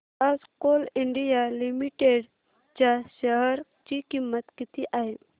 आज Coal India Limited च्या share ची किंमत किती आहे